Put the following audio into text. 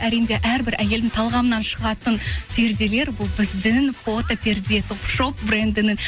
әрине де әрбір әйелдің талғамынан шығатын перделер бұл біздің фотоперде топ шоп брендінің